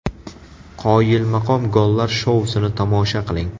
Qoyilmaqom gollar shousini tomosha qiling !